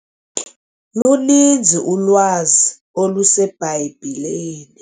Luninzi ulwazi oluseBhayibhileni.